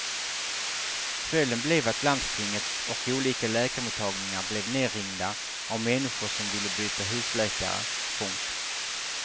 Följden blev att landstinget och olika läkarmottagningar blev nerringda av människor som ville byta husläkare. punkt